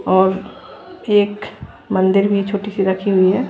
और एक मंदिर भी छोटी सी रखी हुई है।